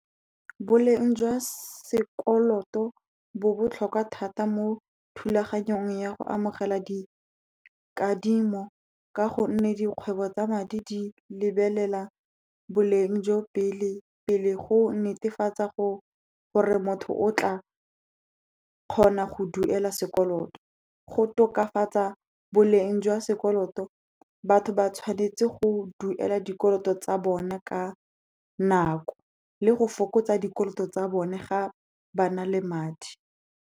Boleng jwa sekoloto bo botlhokwa thata mo thulaganyong ya go amogela di kadimo, ka gonne dikgwebo tsa madi di lebelela boleng jo pele, pele go netefatsa gore motho o tla kgona go duela sekoloto, go tokafatsa boleng jwa sekoloto, batho ba tshwanetse go duela dikoloto tsa bona ka nako le go fokotsa dikoloto tsa bone ga ba na le madi.